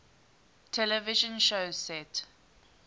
television shows set